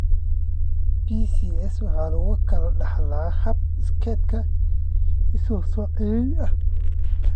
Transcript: BCS waxa lagu kala dhaxlaa hab iskeed isu-soo-celin ah.